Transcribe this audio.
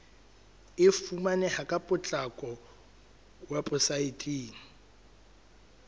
e fumaneha ka potlako weposaeteng